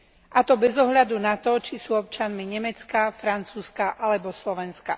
A to bez ohľadu na to, či sú občanmi Nemecka, Francúzska alebo Slovenska.